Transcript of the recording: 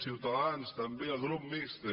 i ciutadans també el grup mixt